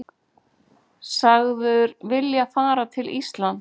Sagður vilja fara til Íslands